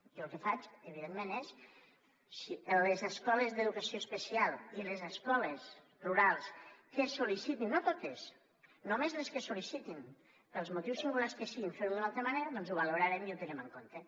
i jo el que faig evidentment és a les escoles d’educació especial i les escoles rurals que sol·licitin no totes només les que sol·licitin pels motius singulars que siguin fer ho d’una altra manera doncs ho valorarem i ho tindrem en compte